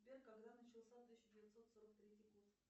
сбер когда начался тысяча девятьсот сорок третий год